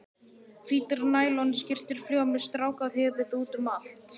Hvítar nælonskyrtur fljúga með strákahöfuð útum allt.